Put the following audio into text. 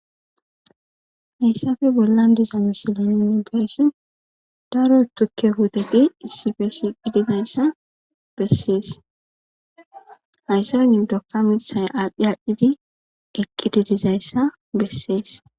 Heyssape bollan diza mislen nuuni be7ishin daro thukke puuthethi issipe shiiqidi dizayssa bessees; ha isa giddonkka miththay aadhdhi aadhdhi eqqidi dizayssa bessees.